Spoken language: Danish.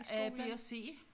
A b og c